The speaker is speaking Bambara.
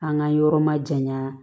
An ka yɔrɔ ma janya